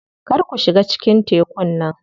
Kar ku shiga cikin tekun nan.